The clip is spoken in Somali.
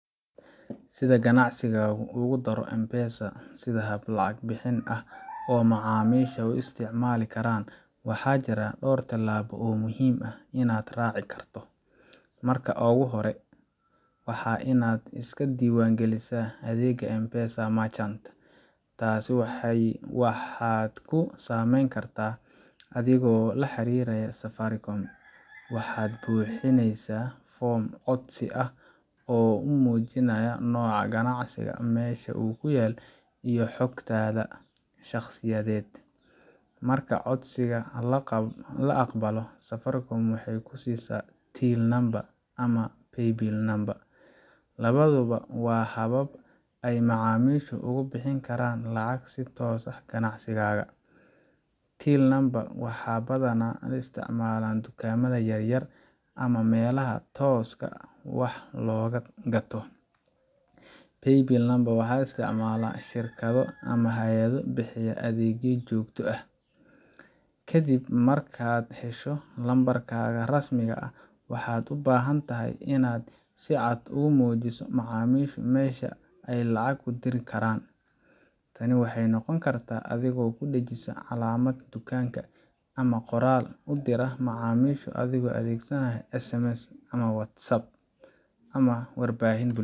Si ganacsigaagu ugu daro M-Pesa sida hab lacag bixin ah oo macaamiisha u isticmaali karaan, waxaa jira dhowr tillaabo oo muhiim ah oo aad raaci karto: Marka hore, waa inaad iska diiwaangelisaa adeegga M-Pesa Merchant . Taas waxaad ku samayn kartaa adigoo la xiriiraya Safaricom – waxaad buuxinaysaa foom codsi ah oo muujinaya nooca ganacsigaaga, meesha uu ku yaal, iyo xogtaada shakhsiyeed Marka codsiga la aqbalo, Safaricom waxay ku siisaa Till Number ama Paybill Number labaduba waa habab ay macaamiishu uga bixin karaan lacag si toos ah ganacsigaaga. Till Number waxaa badanaa isticmaala dukaamada yaryar ama meelaha tooska wax looga gato. Paybill Number waxaa isticmaala shirkado ama hay’ado bixiya adeegyo joogto ah Ka dib markaad hesho lambarkaaga rasmiga ah, waxaad u baahan tahay inaad si cad ugu muujiso macaamiisha meesha ay lacagta ku diri karaan. Tani waxay noqon kartaa adigoo ku dhejisa calaamad dukaanka, ama qoraal u dira macaamiisha adigoo adeegsanaya SMS, WhatsApp, ama warbaahinta.